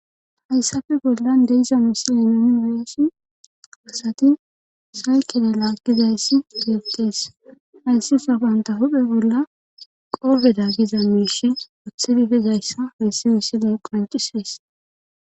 hayssafe bollan de'iza miisile muni weeshi asati saykele laakizayssi gettees hayssi sawanta huphe bolla qoofeda giza miishi othidifizayssa hissi wisila qoncisees